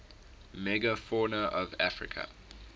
megafauna of africa